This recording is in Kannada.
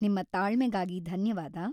ನಿಮ್ಮ ತಾಳ್ಮೆಗಾಗಿ ಧನ್ಯವಾದ.